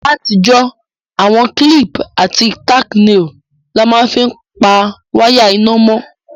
Látijọ́, àwon clip àti tacknails la ma n fi pa wire iná mó